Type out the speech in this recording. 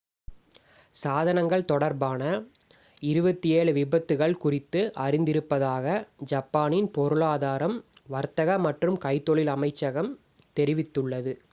சாதனங்கள் தொடர்பான 27 விபத்துக்கள் குறித்து அறிந்திருப்பதாக ஜப்பானின் பொருளாதாரம் வர்த்தக மற்றும் கைத்தொழில் அமைச்சகம் meti தெரிவித்துள்ளது